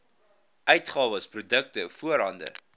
uitgawes produkte voorhande